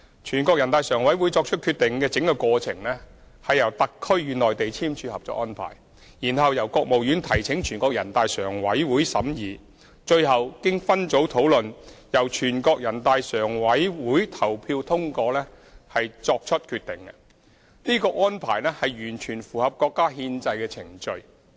全國人大常委會作出決定的整個過程，是由特區與內地簽署《合作安排》，然後由國務院提請全國人大常委會審議，最後經分組討論後由全國人大常委會投票通過作出決定，這安排完全符合國家的憲制程序。